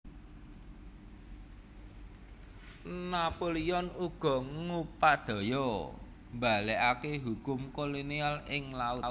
Napoleon uga ngupadaya mbalikaké hukum kolonial ing laut